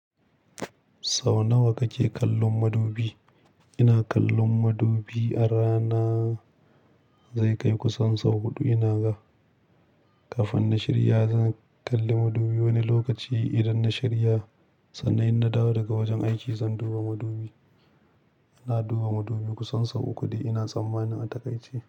Sau nawa kake kallon madubi? Ina kallon madubi a rana, zai kai kusan sau huɗu ina ga. Kafin na shirya zan kalli madubi wani lokaci idan na shirya. Sannan in na dawo daga wajen aiki zan duba madubi. Ina duba madubi kusan sau uku dai ina tsammanin a takaice.